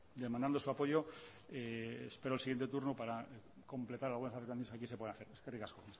demandando su apoyo espero el siguiente turno para completar algunas de las cosas que aquí se pueden hacer eskerrik asko